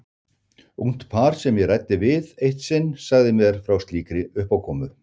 Ungt par sem ég ræddi við eitt sinn sagði mér frá slíkri uppákomu.